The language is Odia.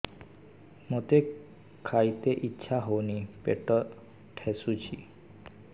ମୋତେ ଖାଇତେ ଇଚ୍ଛା ହଉନି ପେଟ ଠେସୁଛି